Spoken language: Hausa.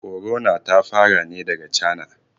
Korona ta fara ne daga China